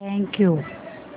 thank you